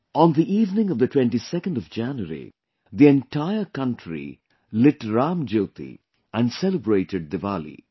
On the evening of the 22nd of January, the entire country lit Ram Jyoti and celebrated Diwali